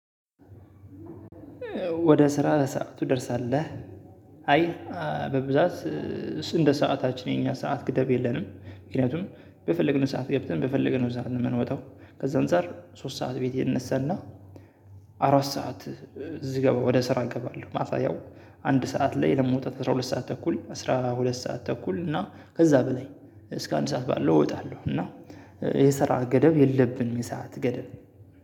ወደ ስራ በሰአቱ ትደርሳለህ? አይ በብዛት እንደ ሰዓታችን የኛ ሰዓት ግደብ የለንም ምክንያቱም በፈለግነው ሰዓት ገብተን በፈለገነው ሰዓት ነው የምንወጣው። ከዛ አንፃር ሶስት ሰዓት ቤት እነሳና። አራት ሰዓት እዚህ ገባ ወደ ስራ እገባለሁ። ማታ ያው አንድ ሰዓት ላይ ለመውጣት አስራ ሁለት ሰዓት ተኩል አስራ ሁለት ሰዓት ተኩል እና ከዛ በላይ እስከ አንድ ሰዓት ባለው እወጣለሁ። እና የሰራ ገደብ የለብኝም የሰዓት ገደብ።